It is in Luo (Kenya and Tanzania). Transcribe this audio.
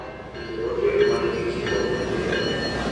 Yier otel ma nigi jikon matindo.